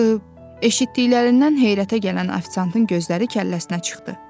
Axı, eşitdiklərindən heyrətə gələn ofisiantın gözləri kəlləsinə çıxdı.